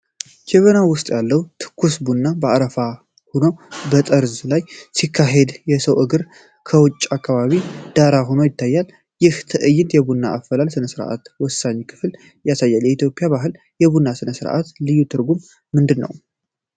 ጀበናው ውስጥ ያለው ትኩስ ቡና አረፋ ሆኖ በጠርዙ ላይ ሲያካሂድ፣ የሰው እግር እና የውጪ አካባቢው ዳራ ሆነው ይታያሉ። ይህ ትዕይንት የቡና አፈላል ሥነ-ሥርዓት ወሳኝ ክፍልን ያሳያል። በኢትዮጵያ ባህል የቡና ሥነ-ሥርዓት ልዩ ትርጉም ምንድነው?